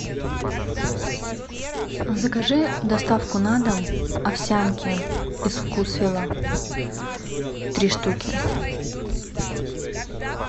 закажи доставку на дом овсянки из вкусвилла три штуки